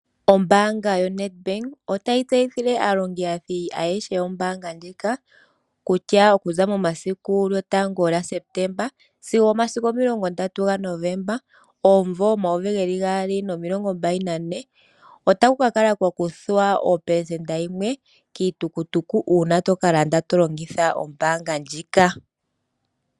Ombaanga yoNedbank otayi tseyithile aalongithi ayehe yombaanga ndjika kutya okuza momasiku 01 Sepetemba sigo 30 Novomba 2024 otaku ka kala kwakuthwa 1% kiitukutuku uuna to ka landa to longitha ombaanga ndjika.